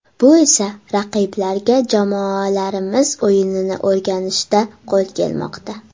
Bu esa raqiblarga jamoalarimiz o‘yinini o‘rganishda qo‘l kelmoqda.